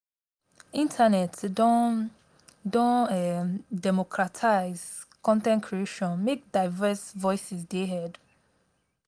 internet don don um democratize con ten t creation make diverse voices dey heard.